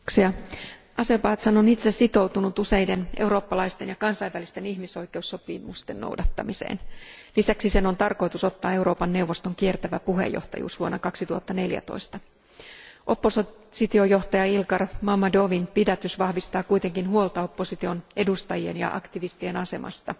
Arvoisa puhemies, Azerbaidžan on itse sitoutunut useiden eurooppalaisten ja kansainvälisten ihmisoikeussopimusten noudattamiseen. Lisäksi sen on tarkoitus ottaa Euroopan neuvoston kiertävä puheenjohtajuus vuonna 2014. Oppositiojohtaja Ilgar Mammadovin pidätys vahvistaa kuitenkin huolta opposition edustajien ja aktivistien asemasta.